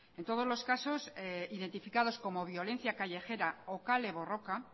en todos los casos identificados como violencia callejera o kale borroka